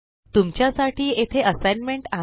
तुमच्या साठी येथे असाइनमेंट आहे